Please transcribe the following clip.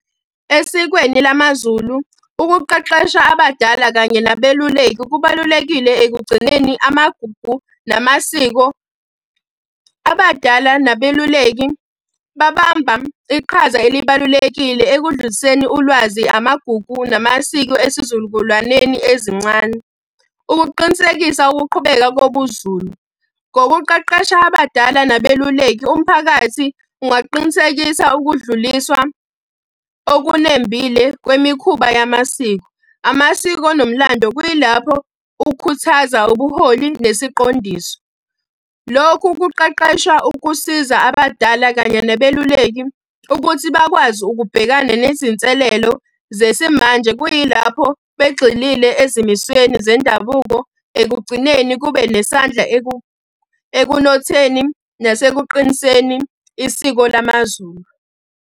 Esikweni lamaZulu, ukuqeqesha abadala kanye nabeluleki kubalulekile ekugcineni amagugu namasiko. Abadala nabeluleki babamba iqhaza elibalulekile ekudluliseni ulwazi, amagugu, namasiko esizukulwaneni ezincane. Ukuqinisekisa ukuqhubeka kobuZulu, ngokuqeqesha abadala nabeluleki, umphakathi ungaqinisekisa ukudluliswa olunembile kwemikhuba yamasiko. Amasiko nomlando, kuyilapho kukhuthaza ubuholi nesiqondiso. Lokhu kuqeqesha ukusiza abadala kanye nabeluleki ukuthi bakwazi ukubhekana nezinselelo zesimanje, kuyilapho begxile ezimisweni zendabuko. Ekugcineni kube nesandla ekunotheni nasekuqiniseni isiko lamaZulu.